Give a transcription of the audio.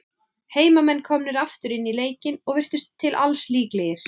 Heimamenn komnir aftur inn í leikinn, og virtust til alls líklegir.